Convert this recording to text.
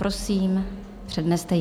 Prosím, předneste ji.